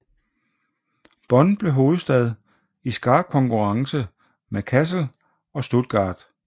Bonn blev hovedstad i skarp konkurrence med Kassel og Stuttgart